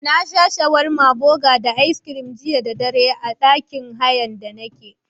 Naci shawarma buga da aiskirin jiya dare a ɗakin hayan da nake.